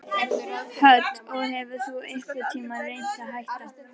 Hödd: Og hefur þú einhvern tímann reynt að hætta?